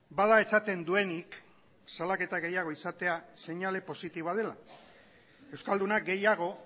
bada esaten duenik salaketa gehiago izatea seinale positiboa dela euskaldunak gehiago